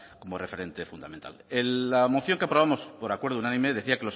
como referente fundamental la moción que aprobamos por acuerdo unánime decía